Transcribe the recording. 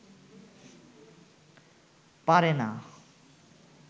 পারে না